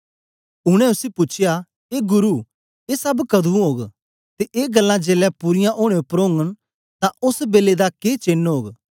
उनै उसी पूछया ए गुरु ए सब कदुं ओग ते ए गल्लां जेलै पूरीयां ओनें उपर ओगन तां ओस बेलै दा के चेन्न ओग